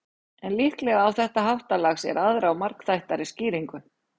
en líklega á þetta háttalag sér aðra og margþættari skýringu